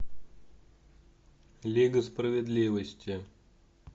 лига справедливости